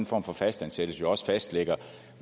form for fastansættelse jo også fastlægger